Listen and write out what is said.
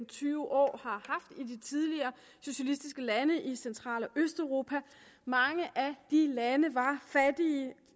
tyve år har haft i de tidligere socialistiske lande i central og østeuropa mange af de lande var